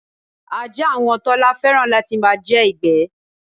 Ajá àwon Tọ́lá fé̩ràn láti máa je̩ ìgbé̩.